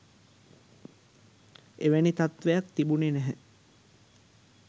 එවැනි තත්ත්වයක් තිබුණෙ නැහැ